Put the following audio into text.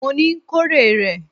Mo ní, kó rè rẹ̀!